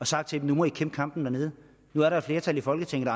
sagt til dem nu må i kæmpe kampen dernede nu er der et flertal i folketinget